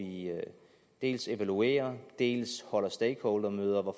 dels evaluerer dels holder stakeholdermøder